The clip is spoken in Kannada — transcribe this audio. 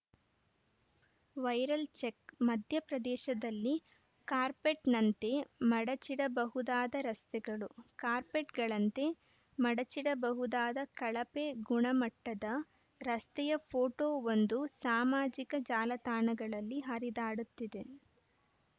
ವೈರಲ್‌ ಚೆಕ್‌ ಮಧ್ಯಪ್ರದೇಶದಲ್ಲಿ ಕಾರ್ಪೆಟ್‌ನಂತೆ ಮಡಚಿಡಬಹುದಾದ ರಸ್ತೆಗಳು ಕಾರ್ಪೆಟ್‌ಗಳಂತೆ ಮಡಚಿಡಬಹುದಾದ ಕಳಪೆ ಗುಣಮಟ್ಟದ ರಸ್ತೆಯ ಫೋಟೋವೊಂದು ಸಾಮಾಜಿಕ ಜಾಲತಾಣಗಳಲ್ಲಿ ಹರಿದಾಡುತ್ತಿದೆ